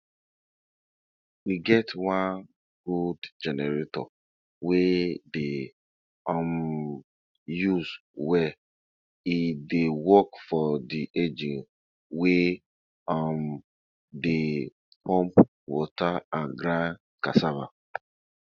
um every tool wey dem dey use plant get story behind am um wey be say na be say na from one generation to um another generation.